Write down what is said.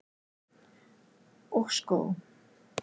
Og skó.